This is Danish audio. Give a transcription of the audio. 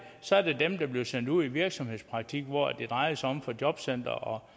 så er der dem der bliver sendt ud i virksomhedspraktik hvor det drejer sig for jobcenteret om